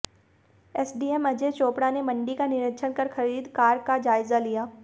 SDM Ajay Chopra ने मंडी का निरीक्षण कर खरीद कार्य का जायजा लिया